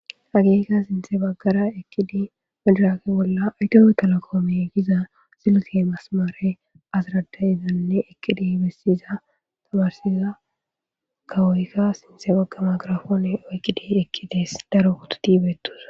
Ageekka sinthe baggara ekidi medraake bolla ayto etalo koome giza silte masmare aziradayizanne ekidi bessiza tamarsiza kawoykka sinthe baggama girafoone oykkidi ekkidees daro utu tibetos.